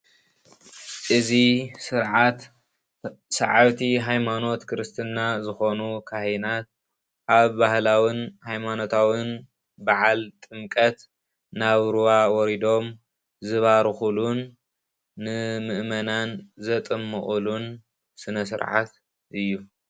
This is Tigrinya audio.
እዚ ስርዓት ስዓብቲ ሃይማኖት ክርስትና ዝኾኑ ካህናት አብ ባህላውን ሃይማኖታውን በዓል ጥምቀት ናብ ሩባ ወሪዶም ዝባርኹሉን ንመእመናን ዘጥምቁሉ ስነ ስርዓት እዩ።